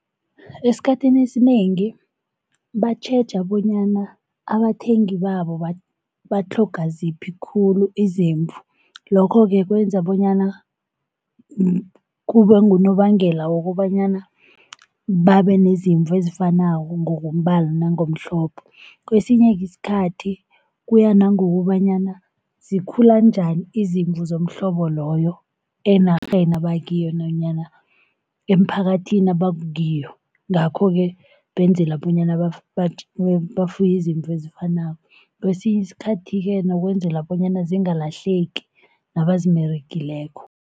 Esikhathini esinengi batjheja bonyana abathengi babo batlhoga ziphi khulu izimvu. Lokho-ke kwenza bonyana kube ngunobangela wokobanyana babe nezimvu ezifanako ngokombala nangomhlobo. Kwesinye-ke isikhathi kuya nangokobanyana zikhula njani izimvu zomhlobo loyo enarheni abakiyo nanyana emphakathini abakiyo. Ngakho-ke benzela bonyana bafuye izimvu ezifanako, kwesinye isikhathi-ke nokwenzela bonyana zingalahleki nabazimeregileko.